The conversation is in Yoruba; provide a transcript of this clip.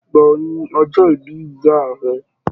Ìgbà wò ní ọjọ́ ìbí ìyá rẹ?